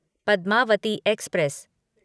Padmavati express